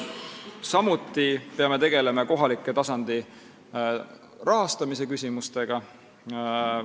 Samuti peame tegelema kohaliku tasandi rahastamise küsimustega.